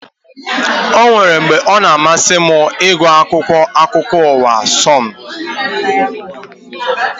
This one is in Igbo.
Ọ nwéré mgbe ọ na amasị m ịgụ akwụkwọ akụkọ ụwa Sonu